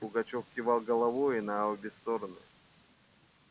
пугачёв кивал головою на обе стороны